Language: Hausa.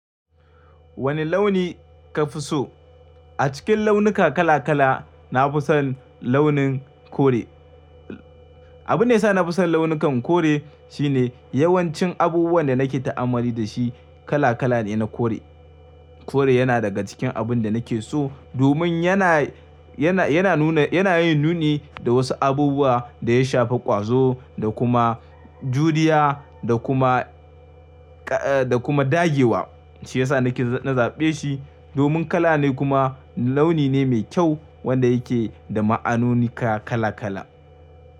Wanne launi ka fi so? A cikin launuka kala kala na fi son launin kore. Abunda yasa na fi son launukan kore shine yawancin abubuwan da nake ta'amalli da shi kala kala ne na kore. Kore yana daga cikin abun da nake so domin yana, yana, yana nuna, yana yin nuni da wasu abubuwa da ya shafi ƙwazo da kuma juriya da kuma, da kuma dagewa. Shi ya sa nake, na zaɓe shi domin kala ne kuma launi ne mai kyau wanda yake da ma'anonika kala-kala.